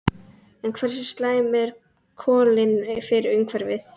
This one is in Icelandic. En hversu slæm eru kolin fyrir umhverfið?